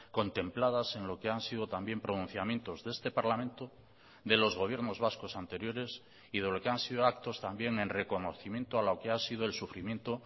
contempladas en lo que han sido también pronunciamientos de este parlamento de los gobiernos vascos anteriores y de lo que han sido actos también en reconocimiento a lo que ha sido el sufrimiento